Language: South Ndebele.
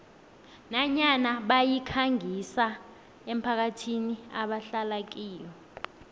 nanyana bayikhangisa emphakathini ebahlala kiyo